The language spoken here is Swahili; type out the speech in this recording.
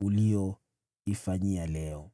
uliyoifanyia leo.”